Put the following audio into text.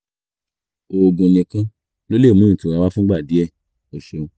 oògùn nìkan ló lè mú ìtura wá fúngbà díẹ̀ o ṣeun